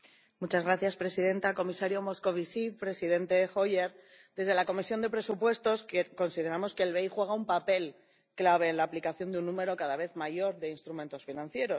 Señora presidenta, comisario Moscovici, presidente Hoyer, desde la Comisión de Presupuestos consideramos que el BEI juega un papel clave en la aplicación de un número cada vez mayor de instrumentos financieros.